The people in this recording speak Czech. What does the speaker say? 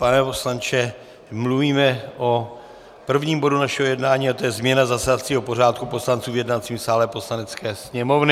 Pane poslanče, mluvíme o prvním bodu našeho jednání a to je změna zasedacího pořádku poslanců v jednacím sále Poslanecké sněmovny.